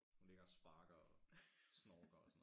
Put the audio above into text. Hun ligger og sparker og snorker og sådan noget